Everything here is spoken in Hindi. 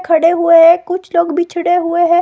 खड़े हुए हैं कुछ लोग बिछड़े हुए है।